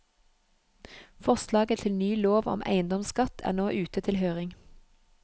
Forslaget til ny lov om eiendomsskatt er nå ute til høring.